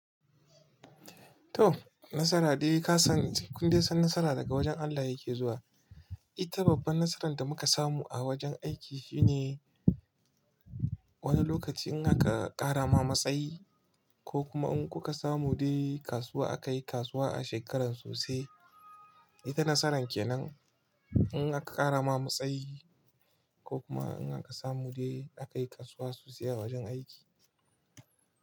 To nasara dai ka san kun dai san nasara daga wajen Allah yake zuwa. Ita babban nasaran da muka samu a wajen aiki shine wani lokaci in aka ƙara ma matsayi ko kuma in kuka samu dai kasuwa aka yi kasuwa a shekaran sosai. Ita nasaran kenan in aka ƙara ma matsayi ko kuma in aka samu dai aka yi kasuwa sosai a wajen aiki.